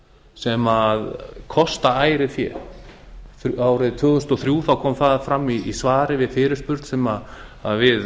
sem kosta ærið fé árið tvö þúsund og þrjú kom það fram í svari við fyrirspurn sem við